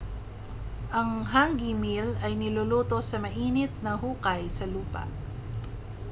ang hangi meal ay niluluto sa mainit na hukay sa lupa